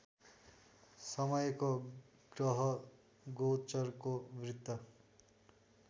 समयको ग्रहगोचरको वृत्त